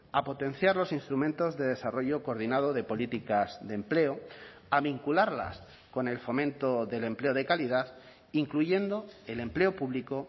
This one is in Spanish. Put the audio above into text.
a potenciar los instrumentos de desarrollo coordinado de políticas de empleo a vincularlas con el fomento del empleo de calidad incluyendo el empleo público